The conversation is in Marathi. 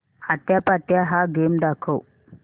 आट्यापाट्या हा गेम दाखव